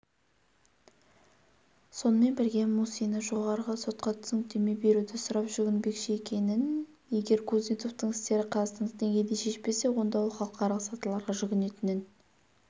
сонымен бірге мусина жоғарғы сотқа түсініктеме беруді сұрап жүгінбекші екенін егер кузнецовтың істері қазақстандық деңгейде шешпесе онда ол халықаралық сатыларға жүгінетінін